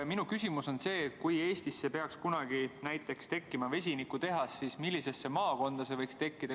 Minu küsimus on see, et kui Eestisse peaks kunagi tekkima vesinikutehas, siis millisesse maakonda see võiks tulla.